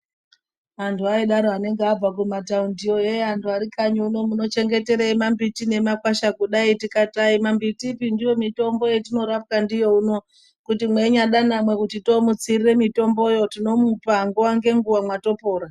Antu aidaro anenge abva kumataundiyo " hee antu arikanyi uno munochengeterei mambiti nemakwasha kudai" tikati aimambiti ba ndiyo mitombo yatinorapwa ndiyo uno kuti mweinyada kuti toomutsira mitomboyo tinomupa nguwa ngenguwa mwatopora.